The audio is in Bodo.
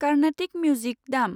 कार्नेटिक मिउजिक दामI